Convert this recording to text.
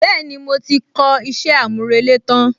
Bẹ́ẹ̀ni, mo ti kọ iṣẹ́ àmúrelé tán